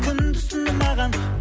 күндіз түні маған